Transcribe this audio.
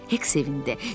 Hek sevindi.